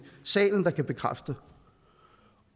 salen der kan bekræfte